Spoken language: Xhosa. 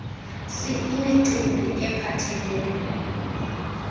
c imicimbi ephathelele